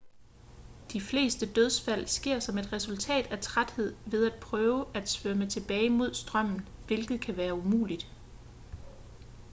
de fleste dødsfald sker som et resultat af træthed ved at prøve at svømme tilbage mod strømmen hvilket kan være umuligt